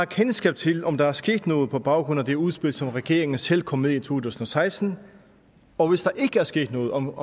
kendskab til om der er sket noget på baggrund af det udspil som regeringen selv kom med i to tusind og seksten og hvis der ikke er sket noget om